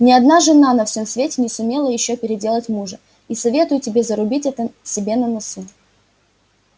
ни одна жена на всём свете не сумела ещё переделать мужа и советую тебе зарубить это себе на носу